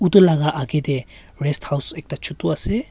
etu laga age te rest house ekta chotu ase.